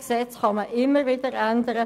Gesetze kann man immer wieder ändern.